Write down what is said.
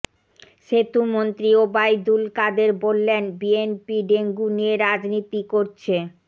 সেতুমন্ত্রী ওবায়দুল কাদের বললেন BNP dengue নিয়ে রাজনীতি করছে